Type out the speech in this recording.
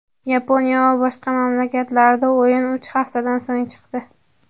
Yaponiya va boshqa mamlakatlarda o‘yin uch haftadan so‘ng chiqdi.